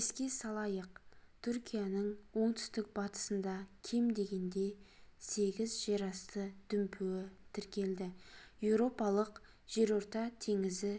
еске салайық түркияның оңтүстік батысында кем дегенде сегіз жерасты дүмпуі тіркелді еуропалық жерорта теңізі